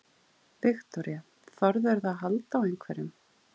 Viktoría: Þorðirðu að halda á einhverjum?